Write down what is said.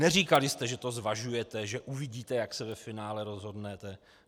Neříkali jste, že to zvažujete, že uvidíte, jak se ve finále rozhodnete.